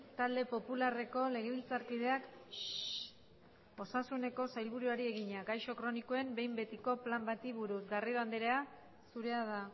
talde popularreko legebiltzarkideak osasuneko sailburuari egina gaixo kronikoen behin betiko plan bati buruz garrido andrea zurea da